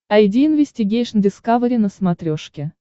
айди инвестигейшн дискавери на смотрешке